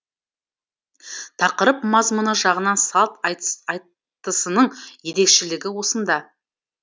тақырып мазмұны жағынан салт айтысының ерекшелігі осында